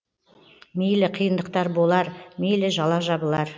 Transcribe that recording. мейлі қиындықтар болар мейлі жала жабылар